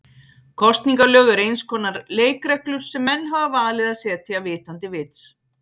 Kosningalög eru eins konar leikreglur sem menn hafa valið að setja vitandi vits.